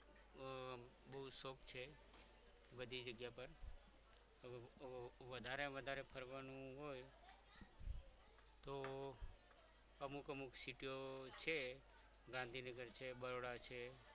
બધી જગ્યા પર વધારે ને વધારે ફરવાનું હોય તો અમુક અમુક city ઓ છે ગાંધીનગર છે બરોડા છે.